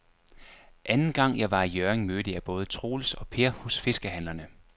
Anden gang jeg var i Hjørring, mødte jeg både Troels og Per hos fiskehandlerne.